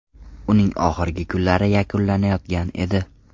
Uning oxirgi kunlari yakunlanayotgan edi.